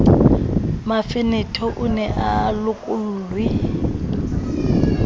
mafenethe o ne a lokollwe